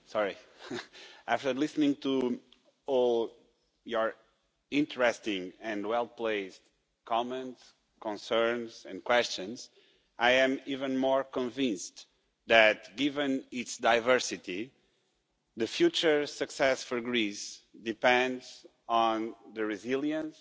Madam President, after listening to all your interesting and well placed comments, concerns and questions, I am even more convinced that given its diversity, future success for Greece depends on the resilience